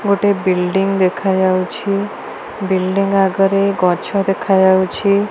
ଗୋଟେ ବିଲ୍ଡିଙ୍ଗ ଦେଖା ଯାଉଛି। ବିଲ୍ଡିଙ୍ଗ ଆଗରେ ଗଛ ଦେଖା ଯାଉଛି।